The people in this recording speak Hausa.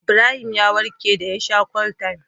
Ibrahim ya warke da ya sha Cold-time